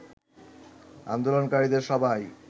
আন্দোলনকারীদের সবাই